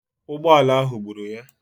Ụgbọala ahụ gburu ya.